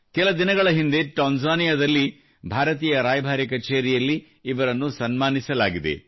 ಕೆಲ ದಿನಗಳ ಹಿಂದೆ ತಾಂಜಾನಿಯಾದಲ್ಲಿ ಭಾರತೀಯ ರಾಯಭಾರಿ ಕಛೇರಿಯಲ್ಲಿ ಇವರನ್ನು ಸನ್ಮಾನಿಸಲಾಗಿದೆ